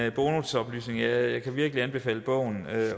en bonusoplysning jeg kan virkelig anbefale bogen